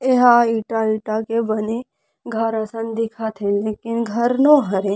यहाँ ईटा ईटा के बाने घर असन दिखत हे लेकिन घर नो हरे।